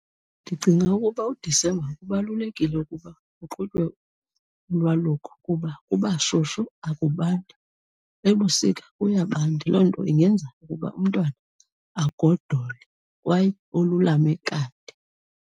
Ndicinga ukuba uDisemba kubalulekile ukuba kuqhutywe ulwaluko kuba kuba shushu akubandi. Ebusika kuyabanda, loo nto ingenza ukuba umntwana agodole kwaye olulame kade.